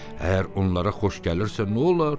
Əgər onlara xoş gəlirsə, nə olar?